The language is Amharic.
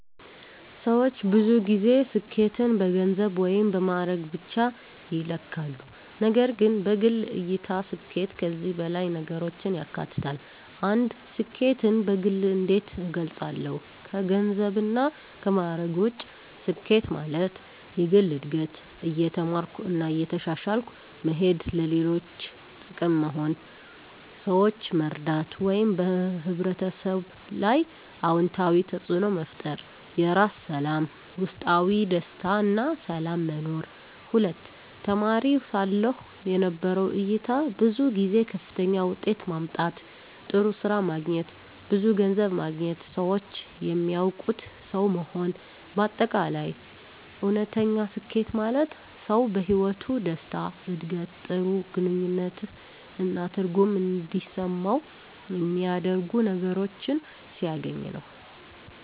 ሰዎች ብዙ ጊዜ ስኬትን በገንዘብ ወይም በማዕረግ ብቻ ይለካሉ፣ ነገር ግን በግል እይታ ስኬት ከዚህ በላይ ነገሮችን ያካትታል። 1. ስኬትን በግል እንዴት እገልጻለሁ ከገንዘብና ከማዕረግ ውጭ ስኬት ማለት፦ የግል እድገት – እየተማርኩ እና እየተሻሻልኩ መሄድ ለሌሎች ጥቅም መሆን – ሰዎችን መርዳት ወይም በሕብረተሰብ ላይ አዎንታዊ ተፅዕኖ መፍጠር የራስ ሰላም – ውስጣዊ ደስታ እና ሰላም መኖር 2. ተማሪ ሳለሁ የነበረው እይታ ብዙ ጊዜ ከፍተኛ ውጤት ማምጣት፣ ጥሩ ስራ ማግኘት፣ ብዙ ገንዘብ ማግኘት ሰዎች የሚያውቁት ሰው መሆን በ አጠቃላይ: እውነተኛ ስኬት ማለት ሰው በሕይወቱ ደስታ፣ ዕድገት፣ ጥሩ ግንኙነት እና ትርጉም እንዲሰማው የሚያደርጉ ነገሮችን ሲያገኝ ነው።